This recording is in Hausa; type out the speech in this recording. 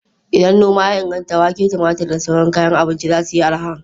Idan noma ya inganta, wake, tumatur da sauran kayan abinci za su yi arha.